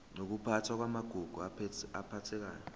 nokuphathwa kwamagugu aphathekayo